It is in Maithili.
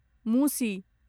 मूसी